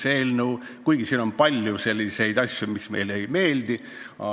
Samas on siin ka palju sellist, mis meile ei meeldi.